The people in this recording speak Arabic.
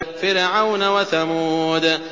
فِرْعَوْنَ وَثَمُودَ